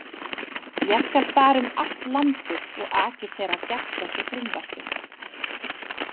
Ég skal fara um allt landið og agitera gegn þessu frumvarpi.